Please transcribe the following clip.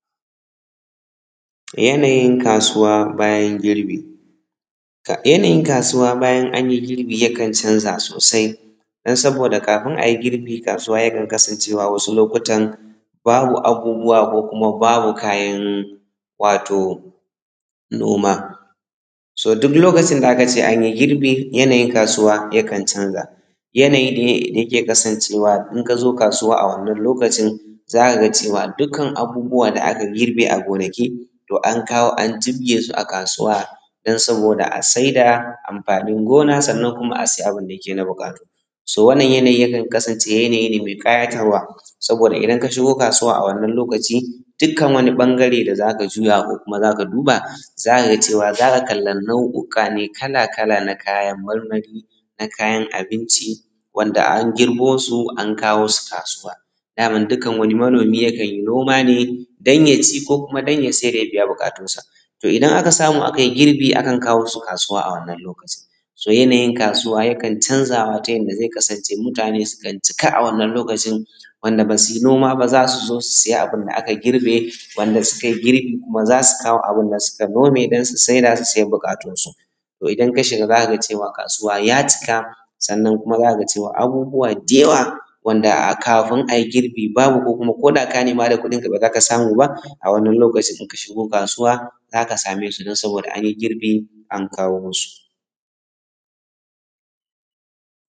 yanayin kasuwa bayan girbi yanayin kasuwa bayan an yi girbi yakan canza sosai don saboda kafin a yi girbi kasuwa yakan kasance wasu lokutan babu abubuwa ko kuma babu kaayan wato noma. So duk lokacin da aka ce an yi girbi yanayin kasuwa yakan canza yanayi ne da yake kasancewa in ka zo kasuwa a wannan lokacin za ka ga cewa dukkan abubuwan da aka girbe a gonaki to an kawo an jibgesu a kasuwa don saboda a saida anfanin gona sannan kuma a sayi abinda yake na buƙatu. So wannan yanayi yakan kasance yanayi ne mai ƙayatarwa saboda idan ka shigo kasuwa a wannan lokaci dukkan wani ɓangare da za ka juya ko ka duba za ka ga cewa za ka kalla nau’uka ne na kayan marmari, na kayan abinci wanɗanda an girbo su an kawo su kasuwa. Daman dukkan wani manomi yakan yi noma ne don ya ci ko don ya siyar ya biya bukatunsa. Idan aka samu aka yi girbi akan kawo su kasuwa a wannan lokacin. So yanayin kasuwa yakan canza ma ta yanda zai kasance mutani sukan cika a wannan lokacin. Wanda ba su yi noma ba zaa su zo su siya abin da aka girbe. Wanda sukai girbi kuma zaa su kawo abinda suka nomee sannan su saida su biyaa bukatunsu. To idan ka shiga za ka ga cewa kasuwa yaa cika ko kuma za ka ga cewa abubuwan da yawaa wanda kaafin ai girbi babu ko kuma za ka ga koda ka nema da kuɗinka ba lallai ka samu ba a wannan lokacin in ka shigo kasuwa za ka same su don saboda an yi girbi an kawo masu.